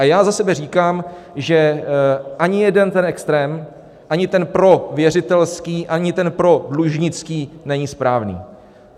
A já za sebe říkám, že ani jeden ten extrém, ani ten prověřitelský, ani ten prodlužnický, není správný.